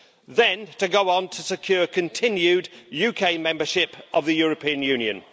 Then, to go on to secure continued UK membership of the European Union.